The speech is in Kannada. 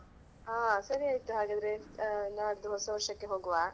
ಹಾ ಸರಿ ಆಯಿತು ಹಾಗಾದ್ರೆ ನಾಡ್ದು ಹೊಸ ವರ್ಷಕ್ಕೆ ಹೋಗುವ.